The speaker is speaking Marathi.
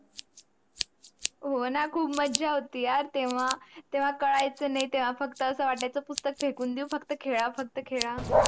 हो ना खूप माझा होती यार तेवा काढायचं नाही फक्त अस वाटायचं पुस्तक फेकून देऊ फक्त खेडा फक्त खेडा.